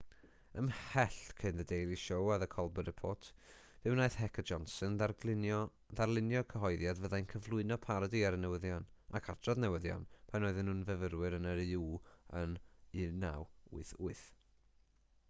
ymhell cyn the daily show a the colber report fe wnaeth heck a johnson ddarlunio cyhoeddiad fyddai'n cyflwyno parodi ar y newyddion ac adrodd newyddion pan oedden nhw'n fyfyrwyr yn uw yn 1988